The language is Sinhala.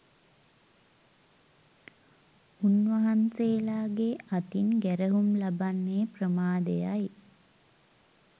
උන්වහන්සේලාගේ අතින් ගැරහුම් ලබන්නේ ප්‍රමාදයයි